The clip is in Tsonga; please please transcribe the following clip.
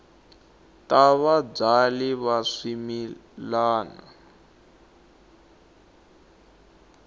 ta vabyali va swimila wa